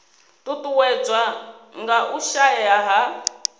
ṱuṱuwedzwa nga u shaea ha